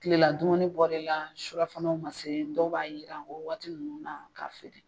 Kilela dumuni bɔr'i la surafanaw man se dɔw b'a yiran o waati ninnu na k'a feere.